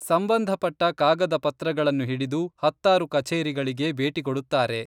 ಸಂಬಂಧಪಟ್ಟ ಕಾಗದ ಪತ್ರಗಳನ್ನು ಹಿಡಿದು ಹತ್ತಾರು ಕಚೇರಿಗಳಿಗೆ ಭೇಟಿ ಕೊಡುತ್ತಾರೆ.